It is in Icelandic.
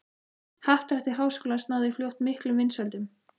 Happdrætti Háskólans náði fljótt miklum vinsældum.